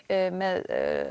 með